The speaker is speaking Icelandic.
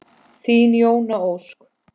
Þín Jóna Ósk.